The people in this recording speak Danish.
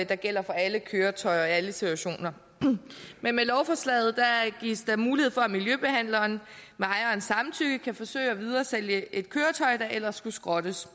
der gælder for alle køretøjer og alle situationer men med lovforslaget gives der mulighed for at miljøbehandleren med ejerens samtykke kan forsøge at videresælge et køretøj der ellers skulle skrottes